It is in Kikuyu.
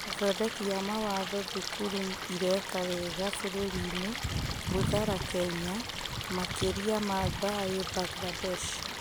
Athondeki a mawatho, Thukuru ĩreka wega bũrũri-inĩ, Mbuthara Kenya, Makĩria ma Thayũ Mbangirandesh